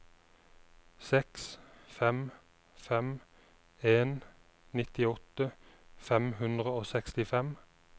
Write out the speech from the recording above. seks fem fem en nittiåtte fem hundre og sekstifem